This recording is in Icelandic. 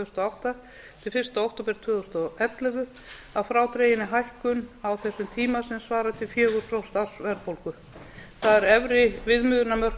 þúsund og átta til fyrsta október tvö þúsund og ellefu að frádreginni hækkun á þessum tíma sem svarar til fjögur prósent ársverðbólgu það eru efri viðmiðunarmörk